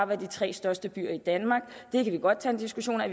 være de tre største byer i danmark det kan vi godt tage en diskussion af